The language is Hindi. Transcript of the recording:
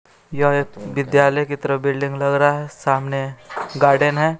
यह एक विद्यालय की तरफ बिल्डिंग लग रहा है सामने गार्डन है।